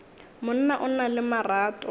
monna o na le marato